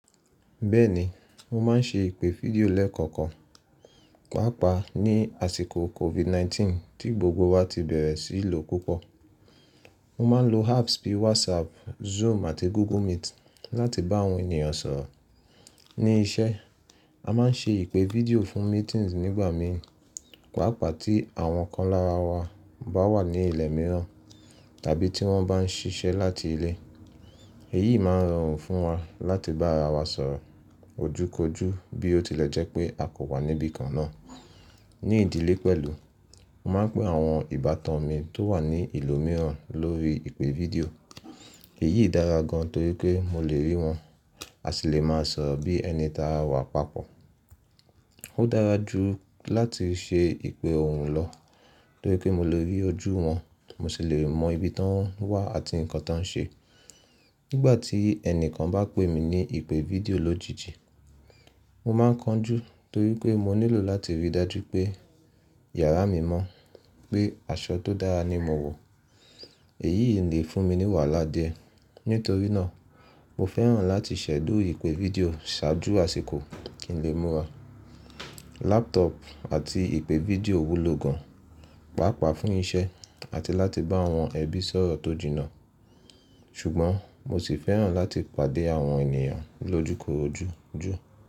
Bẹ́ẹ̀ni, mo má n ṣe ìpè fídíò lẹ́ẹ̀kọ̀kan, pàápàá ní àsìkò COVID-19 tí gbogbo wa ti bẹ̀rẹ̀ sí í lò púpọ̀. Mo má n lo apps bí WhatsApp, Zoom àti Google Meet láti bá àwọn ènìyàn sọ̀rọ̀. Ní iṣẹ́, a má n ṣe ìpè fídíò fún meetings nígbà mìíràn, pàápàá tí àwọn kan lára wa bá wà ní ilẹ̀ mìíràn tàbí tí wọ́n bá n ṣiṣẹ́ láti ilé. Èyí má n rọrùn fún wa láti bá ara wa sọ̀rọ̀ ojúkorojú bí ó tilẹ̀ jẹ́ pé a kò wà níbìkan náà. Ní ìdílé pẹ̀lú, mo má n pé àwọn ìbátan mi tó wà ní ìlú mìíràn lórí ìpè fídíò. Èyí dára gan torí pé mo lè rí wọn àsi lè máa sọ̀rọ̀ bí ẹni tí a wa papọ̀. Ó dára jù láti ṣe ìpè ọ̀hùn lọ torí pé mo lè rí ojú wọn, mo sì lè mọ ibi tí wọ́n wà àti nǹkan tí wọ́n n ṣe. Nígbà tí ẹnìkan bá pè mí ní ìpè fídíò lójijì, mo má n kánjú torí pé mo nílò láti rí dájú pé yàrá mi mọ́, pé aṣọ tó dára ni mo wọ̀. Èyí lè fún mi ní wàhálà díẹ̀. Nítorí náà, mo fẹ́ràn láti ṣẹ̀dú ìpè fídíò ṣáájú àsìkò kí n lè múra. Laptop àti ìpè fídíò wúlò gan, pàápàá fún iṣẹ́ àti láti bá àwọn ẹbí sọ̀rọ̀ tó jìnnà. Ṣùgbọ́n mo sì fẹ́ràn láti pàdé àwọn ènìyàn lójúkorojú jù.